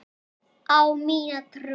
Á mína trú.